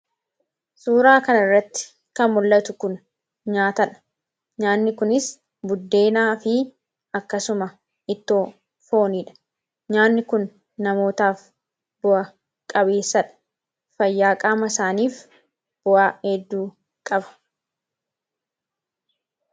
suuraa kana irratti kan mul, atu kun nyaatadha nyaanni kunis buddeenaa fi akkasuma ittoo fooniidha nyaanni kun namootaaf bu'a qabeessadha. fayyaa qaama isaaniif bu'aa heedduu qaba.